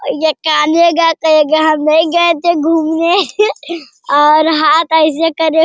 और ये काल्हे गए थे हम नहीं गए थे घूमने और हाथ अइसे करे --